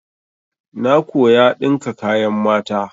Na koya ɗinka kayan mata.